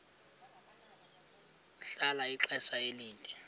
ahlala ixesha elide